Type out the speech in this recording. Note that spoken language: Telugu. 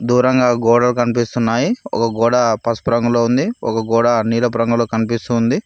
దూరంగా గోడలు కనిపిస్తున్నాయి ఒక గోడ పసుపు రంగులో ఉంది ఒక గోడ నీలపు రంగులో కనిపిస్తూ ఉంది.